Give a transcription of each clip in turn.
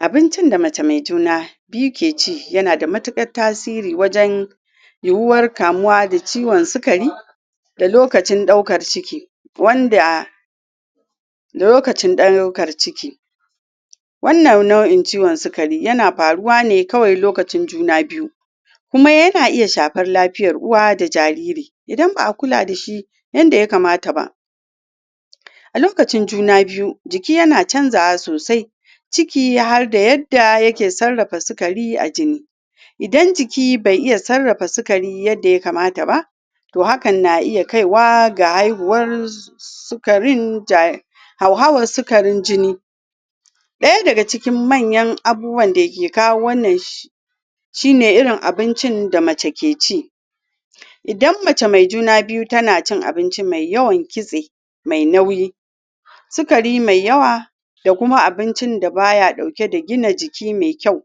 abincin da mace mai juna biyu ta ke ci ya na da matukar yi war kamuwa da ciwon sikari da lokacin daukar ciki wanda lokacin daukar ciki wannan nau'in ciwon sukari yana faruwa ne kawai lokacin juna biyu kuma ya na iya shafar lafiyan uwa da jariri idan ba'a kula da shi yanda ya kamata ba a lokacin juna biyu jiki yana canjawa sosai ciki har yadda yake sarrafa sukari a jini idan jiki bai iya sarrafa sukari yadda ya kamata ba toh hakan na iya kaiwa ga haihuwan sukarin hauhawan sukarin jini daya daga cikin manyan abubuwan da ke kawo wannan shi ne irin abincin da mace ke ci idan mace mai juna biyu ta na cin abinci mai yawan kitse mai nauyi sukari mai yawa da kuma abincin da ba ya dauke dagina jiki mai kyau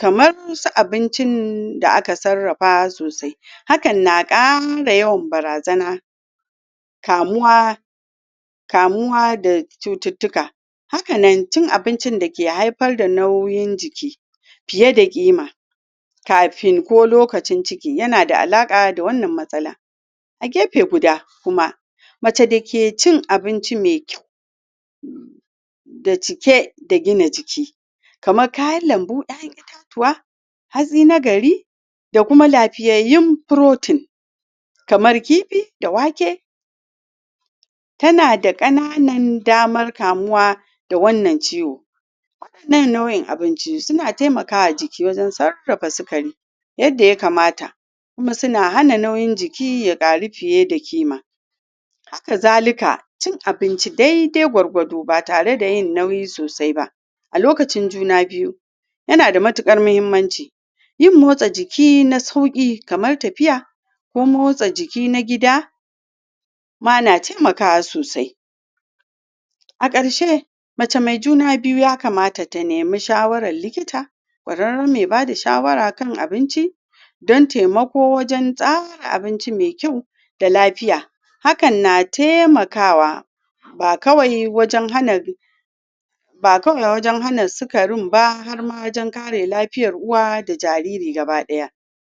kamar su abinci da aka sarrafa sosai hakan na kara yawan barazana kamuwa kamuwa da cututuka hakan nan cin abincin dake haifar da nauyin jiki fiye da kima kafin ko lokacin ciki ya na da alaka da wannan matsala a gefe guda kuma mace da ke in abinci mai kyau mai cike da gina jiki kamar kayan lambu da an yi katuwa, hazi na gari da kuma lafiyayun protein kamar kifi da wake ta na da kanana damar kamuwa da wannan ciwo wadannan nau'in abinci su na taimakawa jiki wajen sarrafa sukari yadda ya kamata ku ma suna hana nauyin jiki na karu fiye da kima haka zalika cin abinci daidai gwargwado ba tare da yin nauyi sosai ba a lokcin juna biyu yana da matukar muhimmanci yin motsa jiki na sauki kamar tafiya ko motsa jiki na gida ma na taimakawa sosai a karshe mace mai juna biyu ya kamata ta nemi shawaran likita kwarara mai ba da shawara akan abinci dan taimako wajen tsara abinci mai kyau da lafiya hakan na taimakawa ba kawai wajen hana ba kawai wajen hana sukarin ba har ma wajen kare lafiyar uwa da jariri gaba daya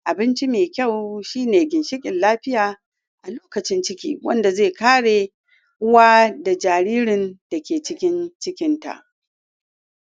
abinci mai kyau shi ne ginshikin lafiya a lokacin ciki wanda zai kare uwa da jaririn da ke cikin cikinta